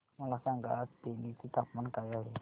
मला सांगा आज तेनी चे तापमान काय आहे